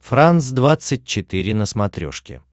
франс двадцать четыре на смотрешке